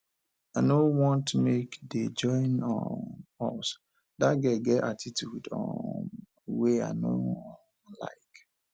i no want make dey join um us dat girl get attitude um wey i no um like